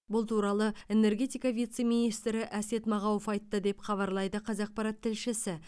бұл туралы энергетика вице министрі әсет мағауов айтты деп хабарлайды қазақпарат тілшісі